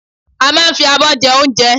A máa n fi abọ́ jẹ óunje